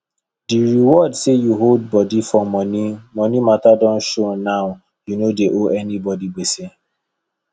di reward say u hold body for money money mata don show now u no dey owe anybody gbese